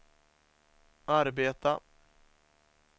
arbeta